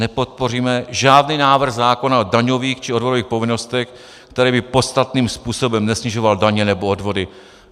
Nepodpoříme žádný návrh zákona o daňových či odvodových povinnostech, které by podstatným způsobem nesnižovaly daně nebo odvody.